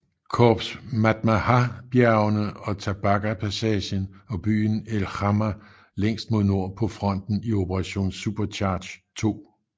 Korps Matmahabjergene og Tebaga passagen og byen El Hamma længst mod nord på fronten i Operation Supercharge II